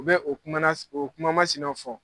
U bɛ o o kuma masinɛw fɔ.